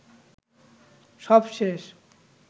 সব শেষ